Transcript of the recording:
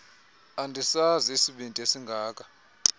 andisazi isibindi esingaka